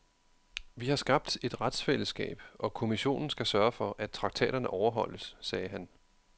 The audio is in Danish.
Vi har skabt et retsfællesskab, og kommissionen skal sørge for, at traktaterne overholdes, sagde han.